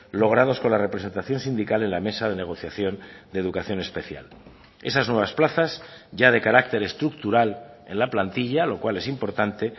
logrados con la representación sindical en la mesa de negociación de educación especial esas nuevas plazas ya de carácter estructural en la plantilla lo cual es importante